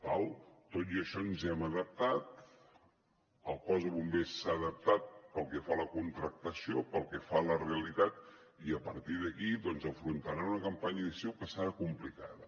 d’acord tot i això ens hem adaptat el cos de bombers s’ha adaptat pel que fa a la contractació pel que fa a la realitat i a partir d’aquí doncs afrontaran una campanya d’estiu que serà complicada